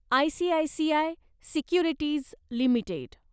ICICI securities limited